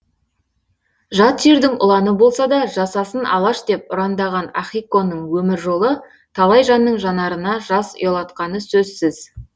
жат жердің ұланы болса да жасасын алаш деп ұрандаған ахиконың өмір жолы талай жанның жанарына жас ұялатқаны сөзсіз